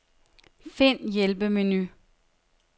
Find hjælpemenu.